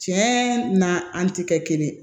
Tiɲɛ na an tɛ kɛ kelen ye